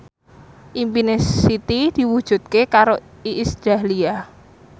impine Siti diwujudke karo Iis Dahlia